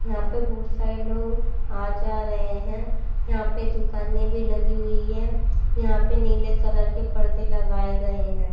यहां पे बहुत सारे लोग आ जा रहे हैं यहां पे दुकान में भी लगी हुई हैं यहां पे नीले कलर के पर्दे लगाए गए हैं।